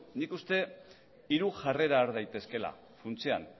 nik uste hiru jarrera har daitezkeela funtsean